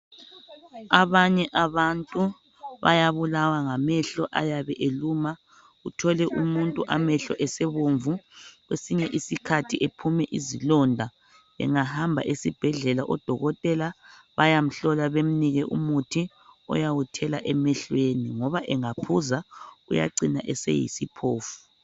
Abanye abantu bayabulawa ngamehlo ayabe eluma. Uthole umuntu amehlo esebomvu. Kwesinye. Isikhathi ephume izilonda. Engahamba esibhedlela, odokotela bayamhlola, bemnike umuthi, ayawuthela emehlweni, ngoba angaphuza. Uyacina eseyisiphofu.